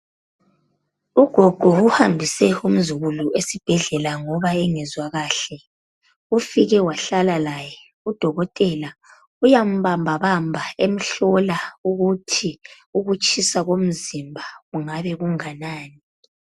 Ugogo uhambise umzukulu esibhedlela ngoba engezwa kuhle ufike wahlala laye udokotela uyamubambabamba emhlola ukutshisa komzimba ukuthi kungabi kunganani